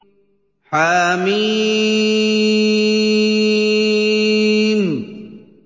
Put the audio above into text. حم